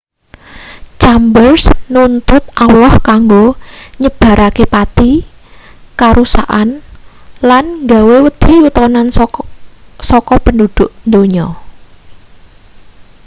chambers nuntut allah kanggo nyebarake pati karusakan lan gawe wedi yutonan saka penduduk donya